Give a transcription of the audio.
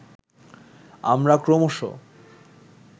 আমরা ক্রমশঃ